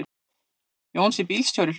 Jónsi bílstjóri hló.